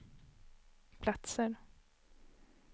platser